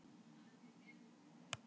Ástríkur, mun rigna í dag?